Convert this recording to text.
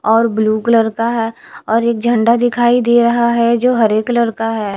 और blue colour का है और एक झंडा दिखाई दे रहा है जो हरे कलर का है।